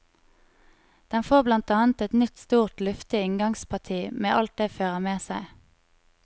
Den får blant annet et nytt stort og luftig inngangsparti med alt det fører med seg.